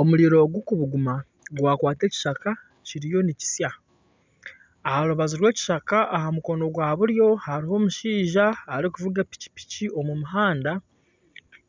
Omuriro gurikubuguma gwakwata ekishaka kiriyo nikisya. Aharubaju rw'ekishaka aha mukono gwaburyo hariho omushaija arikuvuga epikipiki omumuhanda.